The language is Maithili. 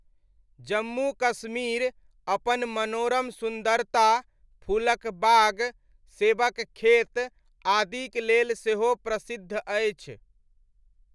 जम्मू कश्मीर अपन मनोरम सुन्दरता, फूलक बाग, सेबक खेत आदिक लेल सेहो प्रसिद्ध अछि।